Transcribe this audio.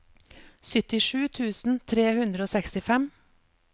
syttisju tusen tre hundre og sekstifem